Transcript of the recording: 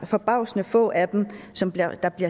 forbavsende få af dem som bliver